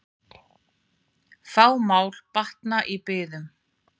Fá mál batna í biðum.